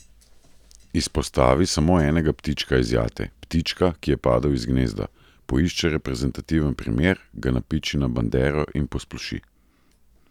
Izpostavi samo enega ptička iz jate, ptička, ki je padel iz gnezda, poišče reprezentativen primer, ga napiči na bandero in posploši.